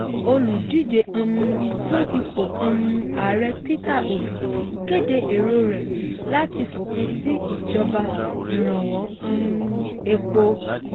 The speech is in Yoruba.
olùdíje um fún ipò um ààrẹ peter obi kéde èrò rẹ̀ láti fòpin sí ìjọba ìrànwọ́ um epo.